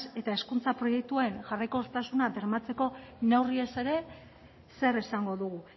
eta hezkuntza proiektuen jarraikortasuna bermatzeko neurriez ere zer esango dugu